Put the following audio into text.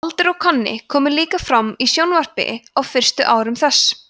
baldur og konni komu líka fram í sjónvarpi á fyrstu árum þess